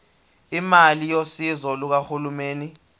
imali yosizo lukahulumeni